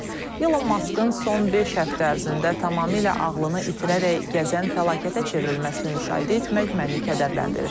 Elon Maskın son beş həftə ərzində tamamilə ağlını itirərək gəzən fəlakətə çevrilməsini müşahidə etmək məni kədərləndirir